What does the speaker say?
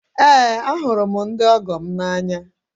Eé, ahụrụ m ndị ọgọ m n'anya.